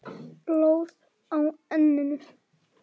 Blóð á enninu.